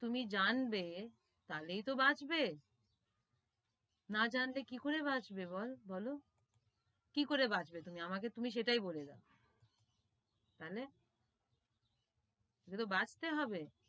তুমি জানবে, তাহলেই তো বাঁচবে না জানলে কি করে বাঁচবে বল, বোলো, কি করে বাঁচবে তুমি আমি তুমি সেটাই বলে দাও, তাহলে তোমাকে তো বাঁচতে হবে,